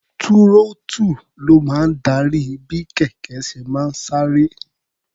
Túrọ́ọ́tù ló máa ń darí bí kẹ̀kẹ́ ṣe máa sáré.